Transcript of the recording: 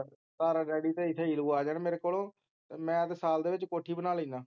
daddy ਤੇ ਇਥੇ ਨੀਲੂ ਆ ਜਾਣ ਮੇਰੇ ਕਲੋ ਤੇ ਮੈਂ ਤਾ ਸਾਲ ਦੇ ਵਿਚ ਕੋਠੀ ਬਣਾ ਲੀਨਾ